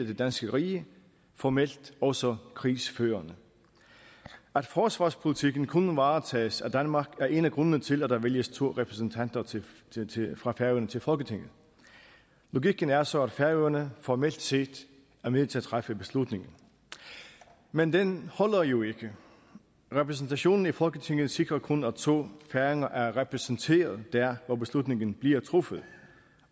det danske rige formelt også krigsførende at forsvarspolitikken kun varetages af danmark er en af grundene til at der vælges to repræsentanter fra færøerne til folketinget logikken er så at færøerne formelt set er med til at træffe beslutningen men den holder jo ikke repræsentationen i folketinget sikrer kun at to færinger er repræsenteret der hvor beslutningen bliver truffet